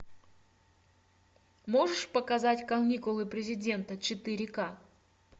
можешь показать каникулы президента четыре ка